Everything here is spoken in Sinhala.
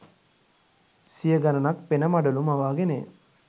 සිය ගණනක් පෙන මඩලු මවාගෙනය.